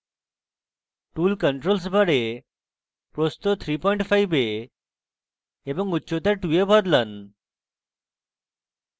tool controls bar প্রস্থ 35 এ এবং উচ্চতা 2 এ বদলান